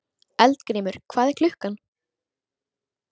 Eldgrímur, hvað er klukkan?